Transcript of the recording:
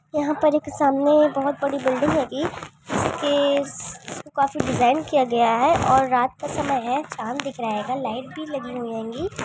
के सामने ही बहुत बड़ी बिल्डिंग है। अभी के सब काफी डिजाइन किया गया है। बस। बस और यहाँ तो कुछ लोग हैं ये।